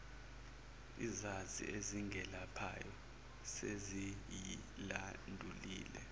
izazi ezingelaphayo seziyilandulile